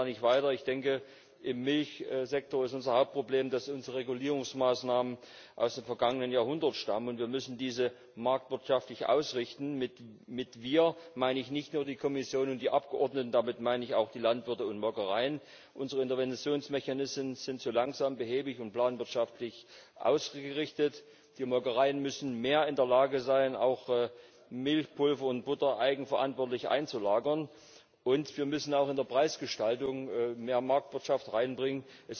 Warum kommen wir da nicht weiter? Ich denke, im Milchsektor ist unser Hauptproblem, dass unsere Regulierungsmaßnahmen aus dem vergangenen Jahrhundert stammen. Wir müssen sie marktwirtschaftlich ausrichten. Mit wir meine ich nicht nur die Kommission und die Abgeordneten, damit meine ich auch die Landwirte und Molkereien. Unsere Interventionsmechanismen sind zu langsam, behäbig und planwirtschaftlich ausgerichtet. Die Molkereien müssen mehr in der Lage sein, auch Milchpulver und Butter eigenverantwortlich einzulagern. Und wir müssen auch in die Preisgestaltung mehr Marktwirtschaft reinbringen.